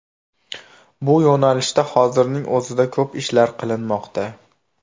Bu yo‘nalishda hozirning o‘zida ko‘p ishlar qilinmoqda.